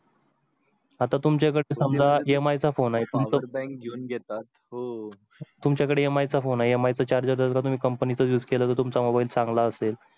आता तुमच्याकडे समजा MI फोन आहे. तुमच्याकडे MIphone आहे MI चारजर तुम्ही कंपनीचा युस केला तुमचा mobile चांगला असेल.